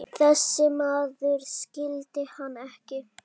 Þessi maður skildi hann ekki.